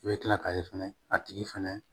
I bɛ kila k'a ye fɛnɛ a tigi fɛnɛ